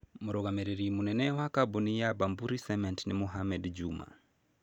Mũrũgamĩrĩri mũnene wa kambuni ya Bamburi Cement nĩ Mohamed Juma.